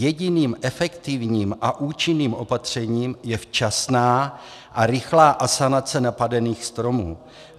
Jediným efektivním a účinným opatřením je včasná a rychlá asanace napadených stromů.